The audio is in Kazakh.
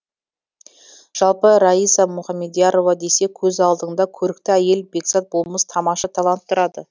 жалпы раиса мұхамедиярова десе көз алдыңда көрікті әйел бекзат болмыс тамаша талант тұрады